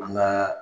An ka